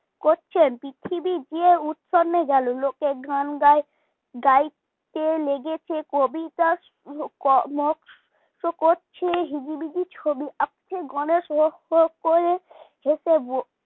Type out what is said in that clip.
করছেন পৃথিবী যে উচ্ছন্নে গেল লোকে গান গাই গায়তে লেগেছে কবিতা করছে হিজিবিজি ছবি আঁকছে গনেশ হো হো করে হেসে বল